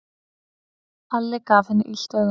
Alli gaf henni illt auga.